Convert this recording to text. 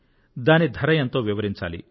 దాని ధర ఎంతో వివరించాలి